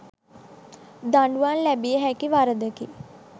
දඩුවම් ලැබියහැකි වරදකි.